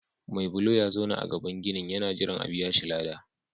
Mai bulo ya zauna a gaban ginin yana jiran a biya shi ladan.